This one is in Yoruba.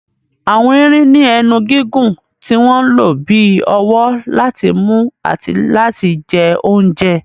Àwọn erin ní ẹnu gígùn tí wọ́n ń lò bí ọwọ́ láti mú àti láti jẹ oúnjẹ.